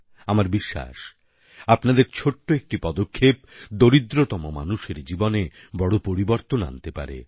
আমার বিশ্বাস আপনাদের ছোট্ট একটি পদক্ষেপ দরিদ্রতম মানুষের জীবনে বড় পরিবর্তন আনতে পারে